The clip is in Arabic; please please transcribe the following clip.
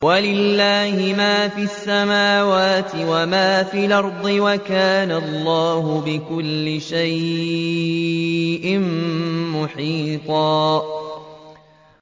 وَلِلَّهِ مَا فِي السَّمَاوَاتِ وَمَا فِي الْأَرْضِ ۚ وَكَانَ اللَّهُ بِكُلِّ شَيْءٍ مُّحِيطًا